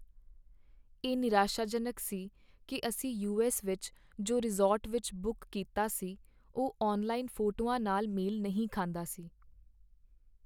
ਇਹ ਨਿਰਾਸ਼ਾਜਨਕ ਸੀ ਕਿ ਅਸੀਂ ਯੂਐੱਸ ਵਿੱਚ ਜੋ ਰਿਜ਼ੋਰਟ ਵਿੱਚ ਬੁੱਕ ਕੀਤਾ ਸੀ ਉਹ ਔਨਲਾਈਨ ਫੋਟੋਆਂ ਨਾਲ ਮੇਲ ਨਹੀਂ ਖਾਂਦਾ ਸੀ।